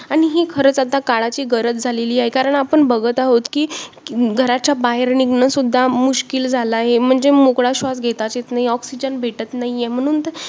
आणि ही खरंच आता काळाची गरज झालेली आहे, कारण आपण बघत आहोत की घराच्या बाहेर निघणं सुद्धा मुश्किल झालं आहे. म्हणजे मोकळा श्वास घेताच येत नाही, oxygen भेटत नाहीये म्हणून तर